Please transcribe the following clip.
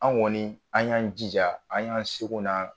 An kɔni an y'an jija an y'an seko n'an